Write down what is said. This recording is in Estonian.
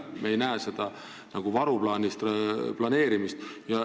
Me ei näe varuplaani planeerimist.